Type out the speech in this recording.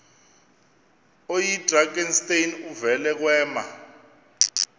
oyidrakenstein uvele kwema